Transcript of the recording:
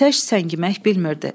Atəş səngimək bilmirdi.